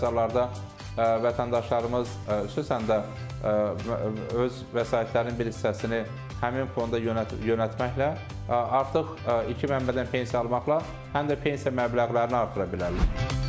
Yəni bəzi hallarda vətəndaşlarımız xüsusən də öz vəsaitlərinin bir hissəsini həmin fonda yönəltməklə artıq iki mənbədən pensiya almaqla həm də pensiya məbləğlərini artıra bilərlər.